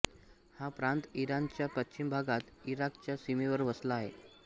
हा प्रांत इराणच्या पश्चिम भागात इराकच्या सीमेवर वसला आहे